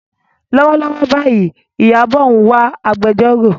Lọ́wọ́lọ́wọ́ báyìí, Ìyábọ̀ ń wá agbẹjọ́rò.